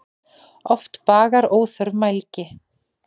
Oft bagar óþörf mælgi.